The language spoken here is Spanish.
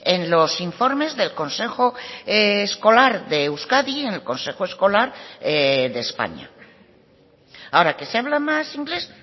en los informes del consejo escolar de euskadi en el consejo escolar de españa ahora que se habla más inglés